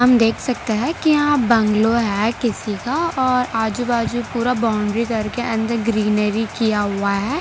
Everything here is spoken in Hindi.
देख सकते है कि आप बैंगलो है किसी का और आजू बाजू पूरा बाउंड्री करके अंदर ग्रीनरी किया हुआ है।